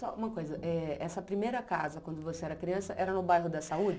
Só uma coisa, eh essa primeira casa, quando você era criança, era no bairro da Saúde?